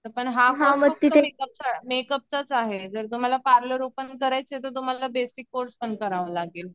पण हा कोर्स मेकअपचाच आहे जर तुम्हाला पार्लर ओपन करायचं आहे तर तुम्हाला बेसिक कोर्स पण करावा लागेल.